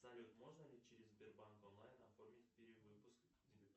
салют можно ли через сбербанк онлайн оформить перевыпуск дебетовой